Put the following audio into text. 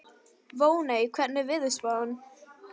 Voney, hvernig er veðurspáin?